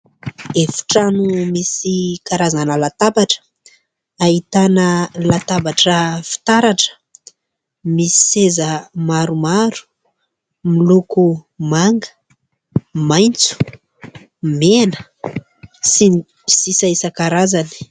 Efi-trano misy karazana latabatra, ahitana latabatra fitaratra. Misy seza maromaro, miloko manga, maitso, mena, sy ny sisa isan-karazany